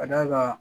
Ka d'a kan